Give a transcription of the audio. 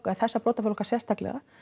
eða þessa brotaflokka sérstaklega